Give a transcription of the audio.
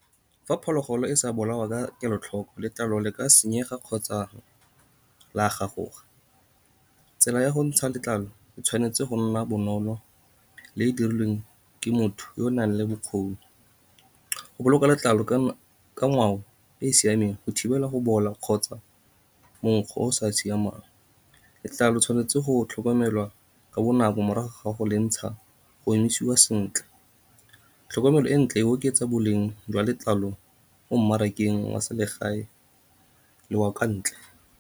Fa phologolo e sa bolawa ka kelotlhoko, letlalo le ka senyega kgotsa la gagoga. Tsela ya go ntsha letlalo e tshwanetse go nna bonolo le dirilweng ke motho yo o nang le bokgoni, go boloka letlalo ka ngwao e e siameng, go thibela go bola kgotsa mokgwa o sa siamang. Letlalo le tshwanetse go tlhokomelwa ka bonako morago ga go le ntsha, go emisiwa sentle. Tlhokomelo e ntle e oketsa boleng jwa letlalo mo mmarakeng wa selegae le wa kwa ntle.